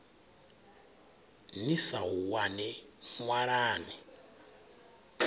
ni sa u wani ṅwalani